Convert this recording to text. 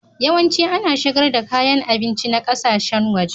Yawanci ana shigar da kayan abinci na ƙasashen waje.